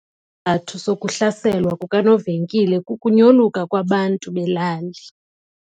Isizathu sokuhlaselwa kukanovenkile kukunyoluka kwabantu belali.